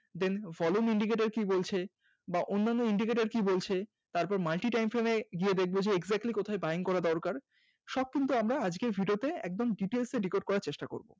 Then volume Indicator কি বলছে বা অন্যান্য Indicator কি বলছে? তারপরে Multi time frame এ গিয়ে দেখবো Exactly কোথায় Buying করা দরকার সব কিন্তু আমরা আজকের Video তে একদম Details এ Record করার চেষ্টা করব